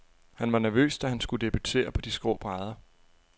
Han var nervøs, da han skulle debutere på de skrå brædder.